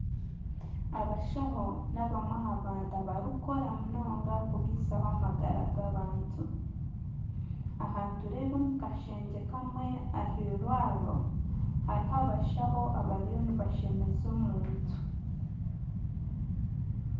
Abashaho nibamwe ah'abantu barikukora munonga kubisaho amagara g'abantu . Aha nitureba omu kashengye kamwe ah'irwariro hariho abashaho abariyo nibashemeza omuntu.